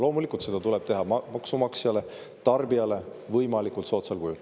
Loomulikult seda tuleb teha maksumaksjale, tarbijale võimalikult soodsal kujul.